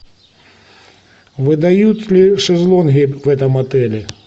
выдают ли шезлонги в этом отеле